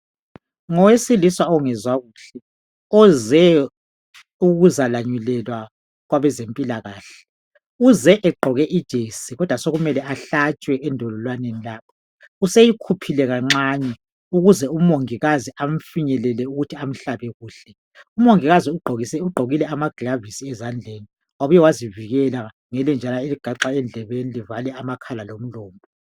Ngowesilisa ongezwa kuhle oze ukuzalanyulelwa kwabezempilakahle uze egqoke ijesi kodwa sekumele ahlatshwe endololwaneni lapha useyikhuphile kancane ukuze umongikazi amfinyelele ukuthi emhlabe kuhle umongikazi ugqokile amagilovisi ezandleni wabuye wazivikela ngelenjana eligaxwa endlebeni livale amakhala lomlomo.